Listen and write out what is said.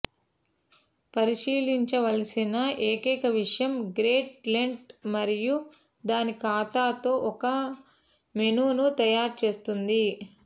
పరిశీలించవలసిన ఏకైక విషయం great Lent మరియు దాని ఖాతాతో ఒక మెనూను తయారు చేస్తుంది